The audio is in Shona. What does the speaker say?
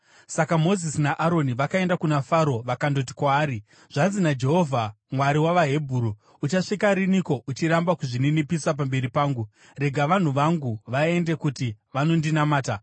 Saka Mozisi naAroni vakaenda kuna Faro vakandoti kwaari, “Zvanzi naJehovha: Mwari wavaHebheru, ‘Uchasvika riniko uchiramba kuzvininipisa pamberi pangu? Rega vanhu vangu vaende kuti vanondinamata.